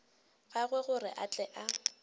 gagwe gore a tle a